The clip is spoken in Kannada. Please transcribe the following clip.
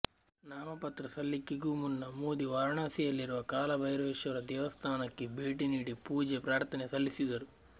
ನಾಮಪತ್ರ ಸಲ್ಲಿಕೆಗೂ ಮುನ್ನ ಮೋದಿ ವಾರಣಾಸಿಯಲ್ಲಿರುವ ಕಾಲಭೈರವೇಶ್ವರ ದೇವಸ್ಥಾನಕ್ಕೆ ಭೇಟಿ ನೀಡಿ ಪೂಜೆ ಪ್ರಾರ್ಥನೆ ಸಲ್ಲಿಸಿದರು